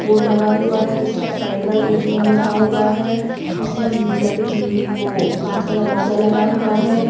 Board लगा हुआ है जिस पर फ़ेडरल ए_टी_एम लिखा हुआ है इसमें लकड़ वो काँच का दरवाजा लगा हुआ है।